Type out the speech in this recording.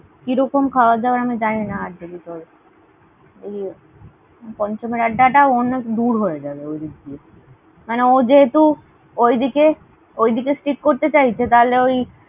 কিরকম খাবার দাবার আমি জানিনা। আর যদি তোর এই পঞ্চম এর আড্ডা টাও অনেক দূর হয়ে যাবে ওদিক দিয়ে। মানে ও যেহেতু ওইদিকে, ওইদিকে stick করতে চাইছে তাহলে ওই